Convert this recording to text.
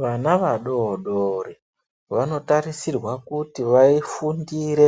Vana vadoodori vanotarisirwa kuti vafundire